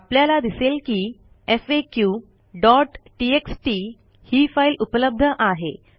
आपल्याला दिसेल की faqटीएक्सटी ही फाईल उपलब्ध आहे